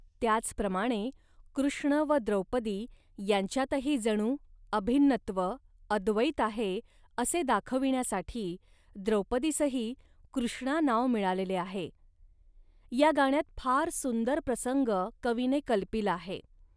त्याचप्रमाणे कृष्ण व द्रौपदी यांच्यातही जणू अभिन्नत्व, अद्वैत आहे, असे दाखविण्यासाठी द्रौपदीसही 'कृष्णा' नाव मिळालेले आहे. या गाण्यात फार सुंदर प्रसंग कवीने कल्पिला आहे